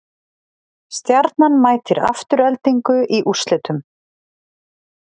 Stjarnan mætir Aftureldingu í úrslitum